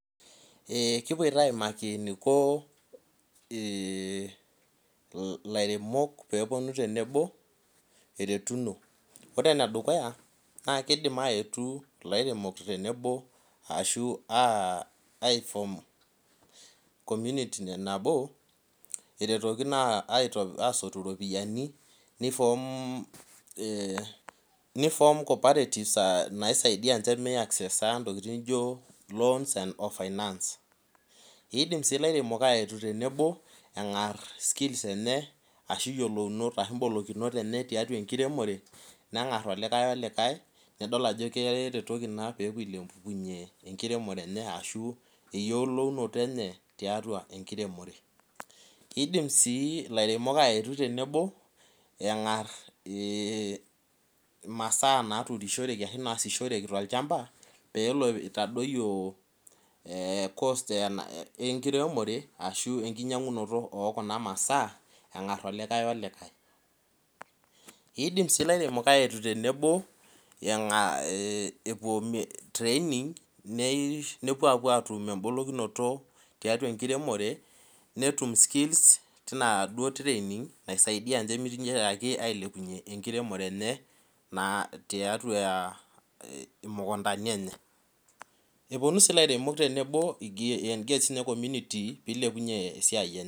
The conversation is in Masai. Ee kipoito aimaki eniko lairemok teneponu tenebo eretuno ore enedukuya na kima aetu lairemok teneno tenebo eretokino asotu ropiyani ni form cooperatives naisaidia te loans and finance indim si lairemok aaletu tenebo engar ashu yiolounoto tiatua enkiremore nengar likae olikae neaku idol ajo keretoki ena tiatua enkiremore kidim si lairemok awtu tenebo engas irmasaa naasishoreki tolchamba engar olikae olikae idim si lairemok aetu tenebo nepuo atum enkiremore tina training naisaidia milepunye enkiremore enye naa tiatua imukundani enye eponu si lairemok tenebo egira ai engage community